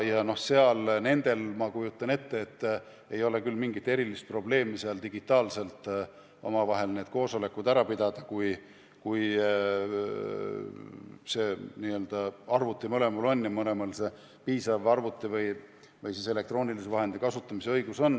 Nendel, ma kujutan ette, ei ole küll mingit erilist probleemi digitaalselt omavahel koosolekud ära pidada, kui mõlemal on arvuti ja mõlemal on piisav arvuti või muu elektroonilise vahendi kasutamise oskus.